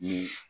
Ni